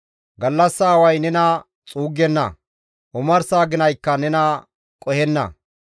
Gallassa away nena xuuggenna; omarsa aginaykka nena qohenna.